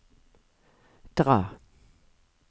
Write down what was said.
dra